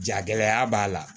Ja gɛlɛya b'a la